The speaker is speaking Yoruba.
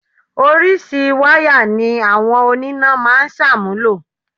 Orísìí wáyà ni àwọn oníná máa ń ṣàmúlò